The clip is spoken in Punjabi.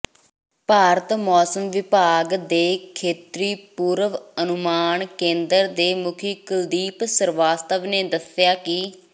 ਭਾਰਤ ਮੌਸਮ ਵਿਭਾਗ ਦੇ ਖੇਤਰੀ ਪੂਰਵ ਅਨੁਮਾਨ ਕੇਂਦਰ ਦੇ ਮੁਖੀ ਕੁਲਦੀਪ ਸ੍ਰੀਵਾਸਤਵ ਨੇ ਦੱਸਿਆ ਕਿ